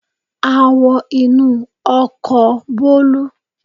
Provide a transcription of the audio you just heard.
A wọ inú ọkọ̀ Bolu.